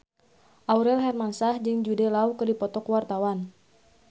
Aurel Hermansyah jeung Jude Law keur dipoto ku wartawan